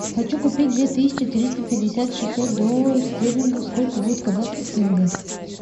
хочу купить две тысячи триста пятьдесят шестьсот долларов стерлингов сколько будет в казахских тенге